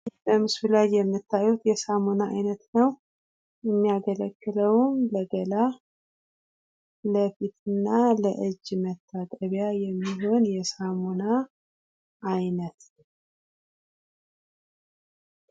በምስሉ ላይ የሚታዩ የሳሙና አይነት ነው። የሚያገለግለውም ለገላ፣ ለፊት እና ለእጅ መታጠቢያ የሚሆን የሳሙና አይነት ነው።